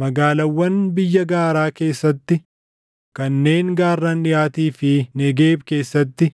Magaalaawwan biyya gaaraa keessatti, kanneen gaarran dhiʼaatii fi Negeeb keessatti,